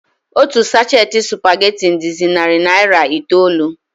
Otu sachet spaghetti dịzi narị naira itoolu.